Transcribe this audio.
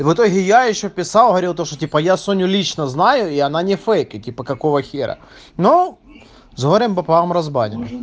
и в итоге я ещё писал говорил то что типа я соню лично знаю и она не фейк и типа какого хера но с горем пополам разбанил